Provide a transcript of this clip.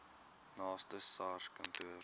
naaste sars kantoor